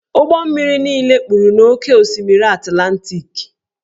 Ụgbọ mmiri niile kpuru n'oké osimiri Atlantiki.